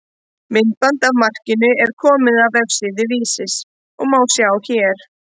Myndband af markinu er komið á vefsíðu Vísis og má sjá hér.